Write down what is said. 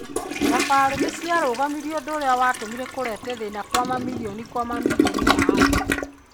Thabarĩ niciarũgamirwe ũndũ urĩa watũmire kũreta thĩĩna kwa mamirioni kwa mamirioni ma andũ